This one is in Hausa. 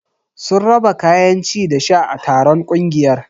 Sun raba kayan ci da sha a taron ƙungiyar.